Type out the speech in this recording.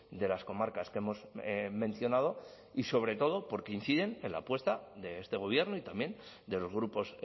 de las comarcas que hemos mencionado y sobre todo porque inciden en la apuesta de este gobierno y también de los grupos